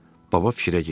Baba fikrə getdi.